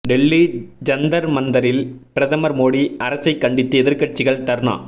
டெல்லி ஜந்தர் மந்தரில் பிரதமர் மோடி அரசைக் கண்டித்து எதிர்க்கட்சிகள் தர்ணா